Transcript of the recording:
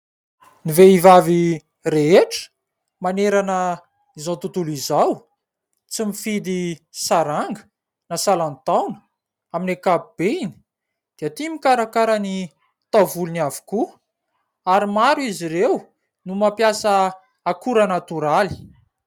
Ny vehivavy rehetra manerana izao tontolo izao, tsy mifidy saranga na salan-taona amin'ny ankapobeany dia tia mikarakara ny taovolony avokoa ary maro izy ireo no mampiasa akora natoraly.